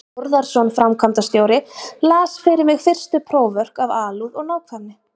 Þórðarson framkvæmdastjóri, las fyrir mig fyrstu próförk af alúð og nákvæmni.